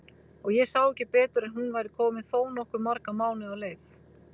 Og ég sá ekki betur en hún væri komin þó nokkuð marga mánuði á leið!